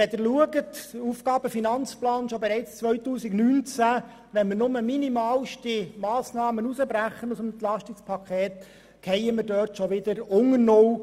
Wenn Sie den AFP anschauen, sehen Sie, dass wir bereits im Jahr 2019 wieder unter null fielen, wenn wir nur minimalste Massnahmen aus dem EP 2018 herausbrechen würden.